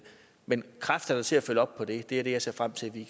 men kræfterne til at følge op på det er det jeg ser frem til at vi